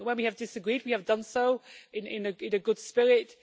When we have disagreed we have done so in a good spirit.